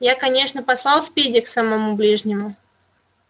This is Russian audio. я конечно послал спиди к самому ближнему